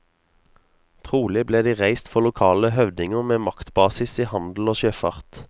Trolig ble de reist for lokale høvdinger med maktbasis i handel og sjøfart.